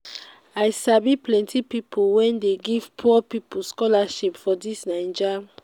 i sabi plenty pipu wey dey give poor pipu scholarship for dis naija.